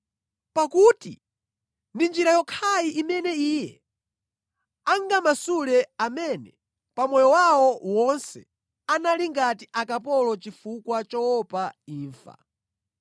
Pakuti ndi njira yokhayi imene Iye angamasule amene pa moyo wawo wonse anali ngati akapolo chifukwa choopa imfa.